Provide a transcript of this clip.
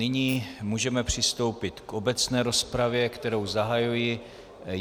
Nyní můžeme přistoupit k obecné rozpravě, kterou zahajuji.